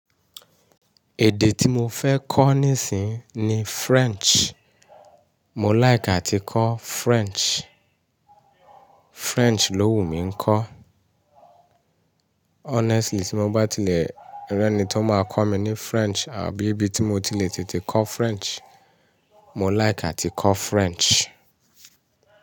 Èdè tí mo fẹ́ kọ́ nísìínyi ni French. Mò láyìká ti kọ́ French. French ló wù mí kọ́. Honestly tí mo bá tilẹ̀ rí ẹni tí ó máa kọ́ mi ní French àbí ibi tí mo ti le tètè kọ́ French, mo láyìká ti kọ́ French.